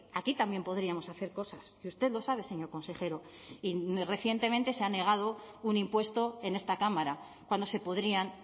aquí también podríamos hacer cosas y usted lo sabe señor consejero y recientemente se ha negado un impuesto en esta cámara cuando se podrían